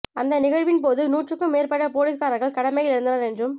அந்த நிகழ்வின் போது நூற்றுக்கும் மேற்பட்ட போலீஸ்காரர்கள் கடமையில் இருந்தனர் என்றும்